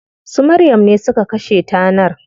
Su Maryam ne suka kashe tanar.